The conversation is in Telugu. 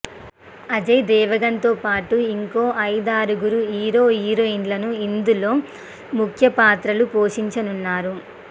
అజయ్ దేవగన్ తో పాటు ఇంకో ఐదారుగురు హీరో హీరోయిన్లు ఇందులో ముఖ్య పాత్రలు పోషించనున్నారు